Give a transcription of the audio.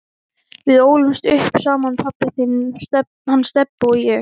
Við ólumst upp saman pabbi þinn, hann Stebbi og ég.